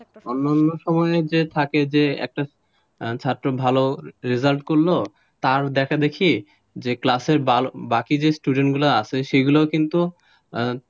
অন্যান্য সময়ে থাকে যে ছাত্র ভাল result করল তার দেখা দেখি যে ক্লাসের বাকি student গুলো আছে সেগুলো কিন্তু,